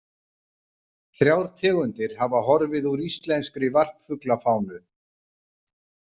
Þrjár tegundir hafa horfið úr íslenskri varpfuglafánu.